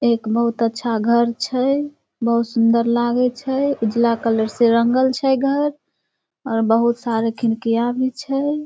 एक बहुत अच्छा घर छै बहुत सुन्दर लागे छै उजला कलर से रंगल छै घर और बहुत सारे खिड़किया भी छै।